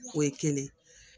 O ye kelen